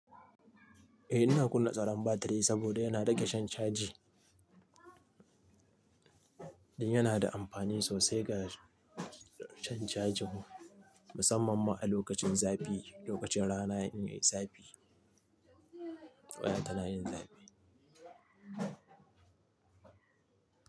Eh ina kunna tsaron batiri saboda yana rage shan caji, yana da amfani sosai ga shan caji, musamman ma a lokacin zafi, lokacin rana in yi zafi, waya tana yin zafi.